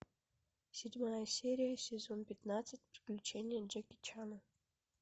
седьмая серия сезон пятнадцать приключения джеки чана